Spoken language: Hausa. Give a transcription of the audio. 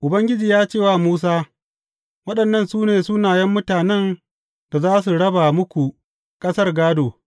Ubangiji ya ce wa Musa, Waɗannan su ne sunayen mutanen da za su raba muku ƙasar gādo.